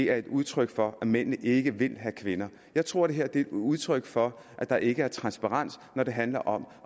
er et udtryk for at mændene ikke vil have kvinder jeg tror det her er et udtryk for at der ikke er transparens når det handler om